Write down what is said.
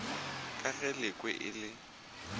ka ge lekwe e le